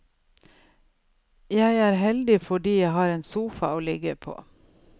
Jeg er heldig fordi jeg har en sofa å ligge på.